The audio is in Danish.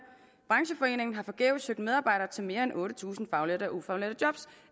brancheforeningen har forgæves søgt medarbejdere til mere end otte tusind faglærte og ufaglærte job